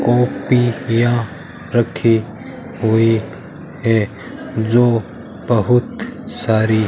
कॉपियां रखी हुई है जो बहुत सारी --